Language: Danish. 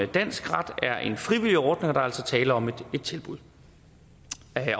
dansk ret er en frivillig ordning er altså tale om et tilbud